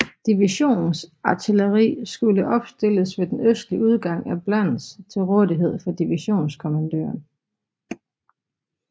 Divisions artilleri skulle opstilles ved den østlige udgang af Blans til rådighed for divisionskommandøren